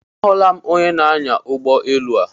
Ahụla m onyenaanya ụgbọelu a.